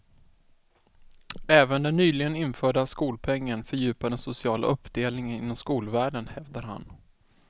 Även den nyligen införda skolpengen fördjupar den sociala uppdelningen inom skolvärlden, hävdar han.